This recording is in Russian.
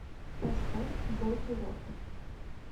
поставь бодирок